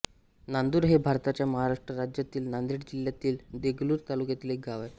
नांदुर हे भारताच्या महाराष्ट्र राज्यातील नांदेड जिल्ह्यातील देगलूर तालुक्यातील एक गाव आहे